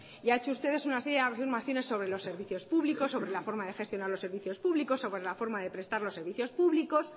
y ha hecho usted una serie de afirmaciones sobre los servicios públicos sobre la forma de gestionar los servicios públicos sobre la forma de prestar los servicios públicos